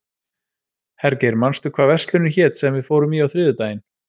Hergeir, manstu hvað verslunin hét sem við fórum í á þriðjudaginn?